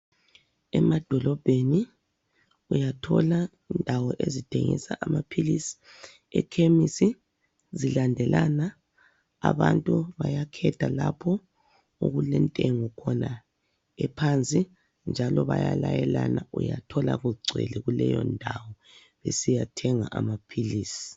Emadolobheni, uyathola indawo ezithengisa amaphilisi ekhemisi, zilandelana. Abantu bayakhetha lapho okulentengo khona ephansi njalo bayalayelana. Uyathola kugcwele kuleyo ndawo besiya thenga amaphilisi.